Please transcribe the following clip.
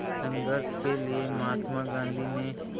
संघर्ष के लिए महात्मा गांधी ने